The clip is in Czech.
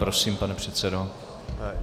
Prosím, pane předsedo.